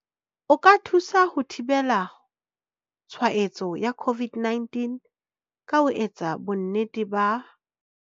O ka thusa ho thibela tshwa etso ya COVID-19 ka ho etsa bonnete ba.